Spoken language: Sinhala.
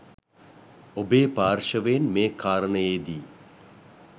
ඔබේ පාර්ශවයෙන් මේ කාරණයේදී